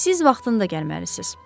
Siz vaxtında gəlməlisiniz.